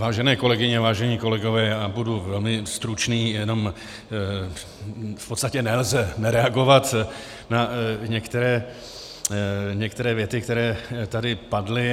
Vážené kolegyně, vážení kolegové, já budu velmi stručný, jenom v podstatě nelze nereagovat na některé věty, které tady padly.